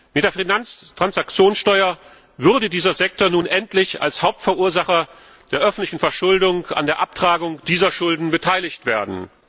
Mit der Finanztransaktionssteuer würde dieser Sektor nun endlich als Hauptverursacher der öffentlichen Verschuldung an der Abtragung dieser Schulden beteiligt werden.